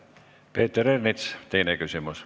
Peeter Ernits, teine küsimus.